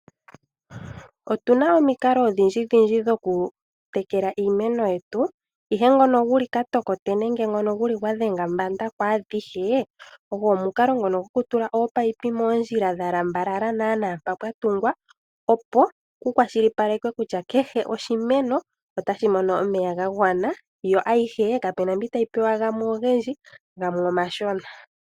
Otuna omukalo odhindji dhoku tekela iimeno yetu, ihe ngono vuku ka tokote nenge gwa dhenga mbanda kwaadhihe ogo omukalo ngono gokutula oopayipi moondjila dha lambalala naana mpa pwa gungwa, opo ku kwashilipaleke kutya kehe oshimeno otashi mono omeya ga gwana yo ayihe kapuna mbi tayi pewa gamwe ogendji gamwe omashona.